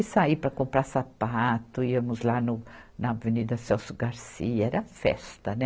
E sair para comprar sapato, íamos lá no, na Avenida Celso Garcia, era festa, né?